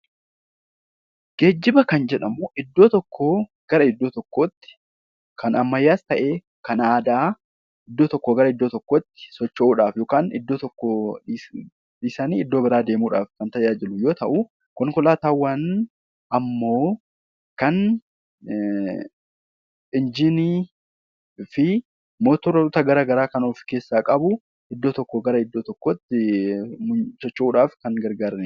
Geejjiba kan jedhamu iddoo tokkoo gara iddoo tokkootti kan ammayyaas ta'ee kan aadaa iddoo tokkoo gara iddoo tokkootti kan tajaajilu yoo ta'u, konkolaataawwan ammookan motora garaagaraa kan of keessaa qabu iddoo tokkoo gara iddoo tokkootti deemuuf kan nu gargaarudha.